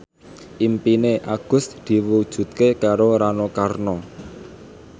impine Agus diwujudke karo Rano Karno